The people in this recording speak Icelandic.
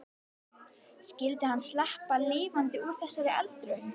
Skyldi hann sleppa lifandi úr þessari eldraun?